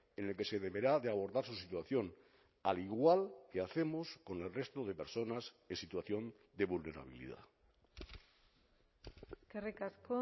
en el que se deberá de abordar su situación al igual que hacemos con el resto de personas en situación de vulnerabilidad eskerrik asko